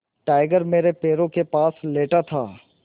tiger मेरे पैरों के पास लेटा था